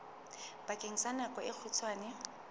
bakeng sa nako e kgutshwane